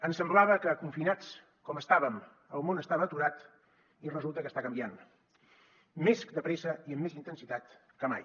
ens semblava que confinats com estàvem el món estava aturat i resulta que està canviant més de pressa i amb més intensitat que mai